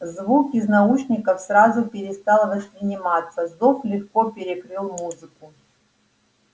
звук из наушников сразу перестал восприниматься зов легко перекрыл музыку